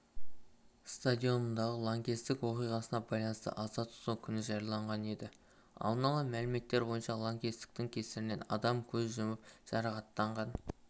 стадионындағы лаңкестік оқиғасына байланысты аза тұту күні жарияланған еді алдын ала мәліметтер бойынша лаңкестіктің кесірінен адам көз жұмып адам жарақаттанған